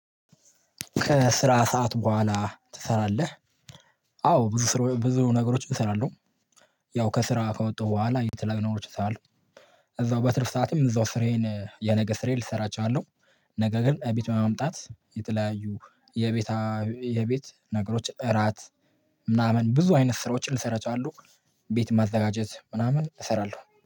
ከስራ ሰዓት በኋላ ትሰራለህ? አዎ ብዙ ስራ ብዙ ነገሮች እሰራለሁ። ያው ከስራ ከወጣሁ በኋላ የተለያዩ ነገሮችን ሰራለሁ። እዛው በትርፍ ሰዓቴም እዛው ስሬን የነገ ስራዬን ልሰራ ችላለሁ። ነገ ግን እቤት በመምጣት የተለያዩ የቤት የቤት ነገሮች እራት ምናምን ብዙ አይነት ስራዎችን ልሰራ ችላለው አሉ። ቤት ማዘጋጀት ምናምን እሰራለሁ